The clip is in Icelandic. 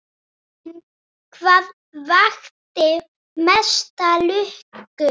En hvað vakti mesta lukku?